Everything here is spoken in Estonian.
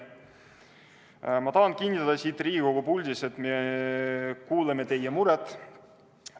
Ma tahan kinnitada siit Riigikogu puldist, et me kuuleme teie muret.